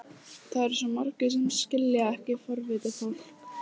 Það eru svo margir sem skilja ekki forvitið fólk.